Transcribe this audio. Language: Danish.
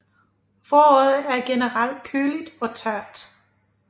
Foråret er generelt køligt og tørt